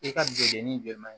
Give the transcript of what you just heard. I ka jenini jɔ man ɲi